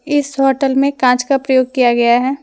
इस होटल में कांच का प्रयोग किया गया है।